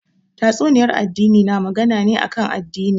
Tatsuniyar addini na magana ne kan addini